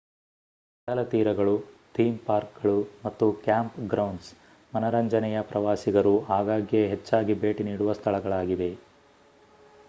ಕಡಲತೀರಗಳು theme ಪಾರ್ಕ್‌ಗಳು ಮತ್ತು camp grounds ಮನರಂಜನೆಯ ಪ್ರವಾಸಿಗರು ಆಗಾಗ್ಗೆ ಹೆಚ್ಚಾಗಿ ಭೇಟಿ ನೀಡುವ ಸ್ಥಳಗಳಾಗಿವೆ